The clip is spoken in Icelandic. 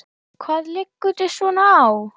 Hvað liggur þér svona á?